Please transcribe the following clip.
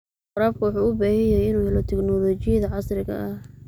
Waraabka wuxuu u baahan yahay inuu helo tignoolajiyada casriga ah.